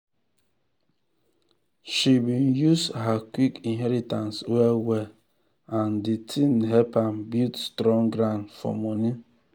she been use her quick inheritance well well and de thing help am build strong ground for money.